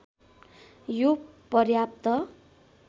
यो पर्याप्त